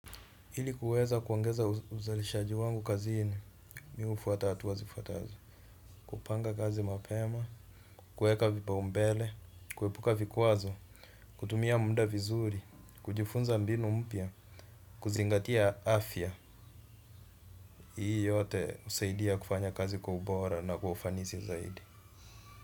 Ili kuweza kuongeza uzalishaji wangu kazini, mimi hufuata hatua zifuatazo. Kupanga kazi mapema, kuweka vipa umbele, kuepuka vikwazo, kutumia muda vizuri, kujifunza mbinu mpya, kuzingatia afya. Hii yote husaidia kufanya kazi kwa ubora na kwa ufanisi zaidi.